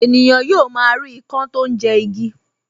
Ènìyàn yóò máa rí ikán tó ń jẹ igi